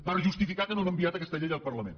per justificar que no han enviat aquesta llei al parlament